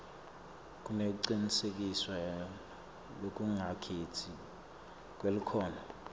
nekucinisekiswa lokungakhetsi kwelikhono